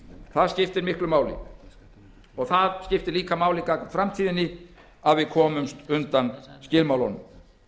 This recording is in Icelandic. það skiptir miklu máli og það skiptir líka máli gagnvart framtíðinni að við komumst undan skilmálunum